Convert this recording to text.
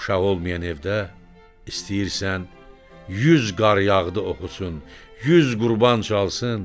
Uşaq olmayan evdə istəyirsən yüz qar yağdı oxusun, yüz qurban çalsın.